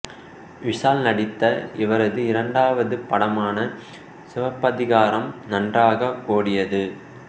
விஷால் நடித்த இவரது இரண்டாவது படமான சிவப்பதிகாரம் நன்றாக ஓடியது